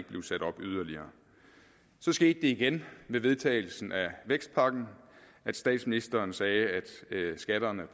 blive sat op yderligere så skete det igen ved vedtagelsen af vækstpakken at statsministeren sagde at skatterne